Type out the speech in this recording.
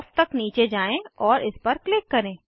ओफ तक नीचे जाएँ और इस पर क्लिक करें